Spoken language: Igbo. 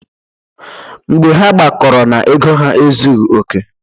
Mgbe ha gbakọrọ na ego ha ezughi oke.